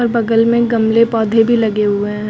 बगल में गमले पौधे भी लगे हुए हैं।